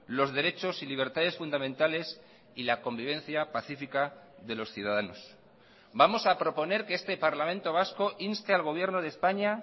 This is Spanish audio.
los derechos y libertades fundamentales y la convivencia pacífica de los ciudadanos vamos a proponer que este parlamento vasco inste al gobierno de españa